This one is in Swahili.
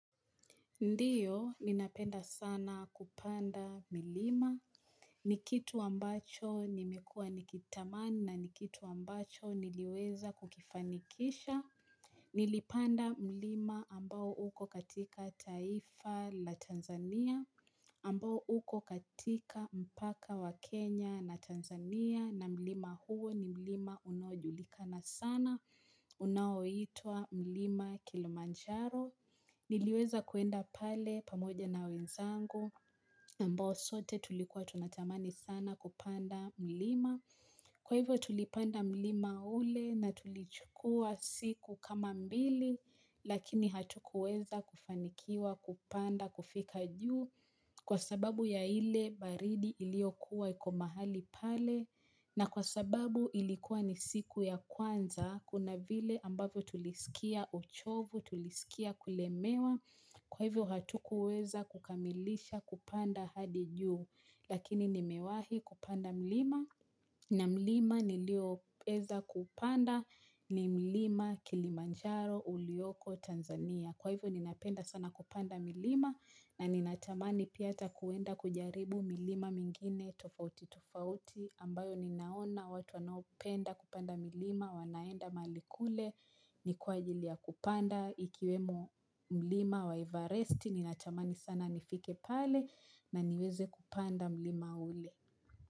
Ndiyo, ninapenda sana kupanda milima. Ni kitu ambacho nimekua nikitamani na n ikitu ambacho niliweza kukifanikisha. Nilipanda milima ambao uko katika taifa la Tanzania. Ambao uko katika mpaka wa Kenya na Tanzania. Na milima huo ni milima unaojulikana sana. Unaoitwa milima Kilimanjaro. Niliweza kuenda pale pamoja na wenzangu ambao sote tulikuwa tunatamani sana kupanda milima. Kwa hivyo tulipanda milima ule na tulichukua siku kama mbili lakini hatukuweza kufanikiwa kupanda kufika juu. Kwa sababu ya ile baridi iliokuwa iko mahali pale na kwa sababu ilikuwa ni siku ya kwanza, kuna vile ambavyo tulisikia uchovu tulisikia kulemewa kwa hivyo hatukuweza kukamilisha kupanda hadi juu lakini nimewahi kupanda mlima na mlima nilioweza kupanda ni mlima Kilimanjaro ulioko Tanzania. Kwa hivyo ninapenda sana kupanda milima na ninatamani pia ata kuenda kujaribu milima mingine tofauti tofauti ambayo ninaona watu wanaopenda kupanda milima wanaenda mahali kule ni kwa ajili ya kupanda ikiwemo milima wa Evaresti ninatamani sana nifike pale na niweze kupanda milima ule.